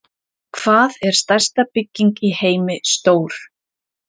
Hvað er stærsta bygging í heimi stór?